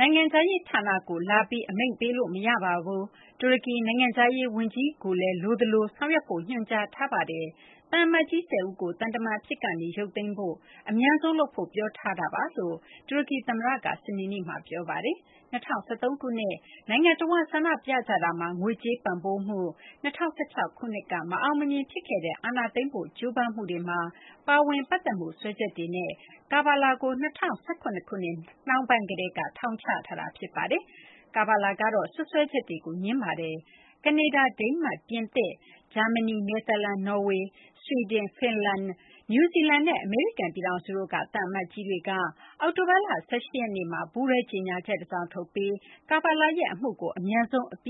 နိုင်ငံခြားရေးဌာနကို လာပြီး အမိန့်ပေးလို့ မရပါဘူး။ တူရကီ နိုင်ငံခြားရေးဝန်ကြီးကိုလည်း လိုအပ်သလို ဆောင်ရွက်ဖို့ ညွှန်ကြားထားပါတယ်။ သံအမတ်ကြီး ၁၀ ဦးကို သံတမန်အဖြစ်ကနေ ရုပ်သိမ်းဖို့ အမြန်ဆုံးလုပ်ဖို့ ပြောထားပါတယ်။” လို့ တူရကီသမ္မတက စနေနေ့မှာ ပြောလိုက်တာပါ။ ၂၀၁၃ ခုနှစ် နိုင်ငံတဝန်း ဆန္ဒပြကြတာမှာ ငွေကြေးပံ့ပိုးမှု၊ ၂၀၁၆ ခုနှစ်က မအောင်မမြင် ဖြစ်ခဲ့တဲ့ အာဏာသိမ်းဖို့ ကြိုးပမ်းမှုတွေမှာ ပါဝင်ပတ်သက်မှု စွဲချက်တွေနဲ့ Kavala ကို ၂၀၁၇ ခုနှစ် နှောင်းပိုင်းကတည်းက ထောင်ချထားတာ ဖြစ်ပါတယ်။ Kavala ကတော့ စွပ်စွဲချက်တွေကို ငြင်းဆိုထားပါတယ်။ ကနေဒါ၊ ဒိန်းမတ်၊ ပြင်သစ်၊ ဂျာမနီ၊ နယ်သာလန်၊ နော်ဝေ၊ ဆွီဒင်၊ ဖင်လန်၊ နယူးဇီလန်နဲ့ အမေရိကန် ပြည်ထောင်စုတို့က သံအမတ်ကြီးတွေက အောက်တိုဘာလ ၁၈ ရက်နေ့မှာ ပူးတွဲ ကြေညာချက်တစောင်ထုတ်ပြီး Kavala ရဲ့အမှုကို အမြန်ဆုံး အပြ